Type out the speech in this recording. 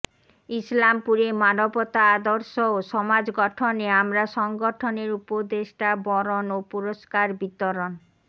ইসলামপুরে মানবতা আদর্শ ও সমাজ গঠনে আমরা সংগঠনের উপদেষ্টা বরণ ও পুরস্কার বিতরণ